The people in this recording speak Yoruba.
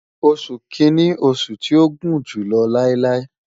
Oṣu Kini oṣu ti o gun julọ lailai